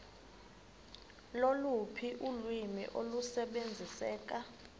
loluphi ulwimi olusebenziseka